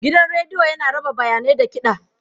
Gidan rediyo yana raba bayanai da kiɗa.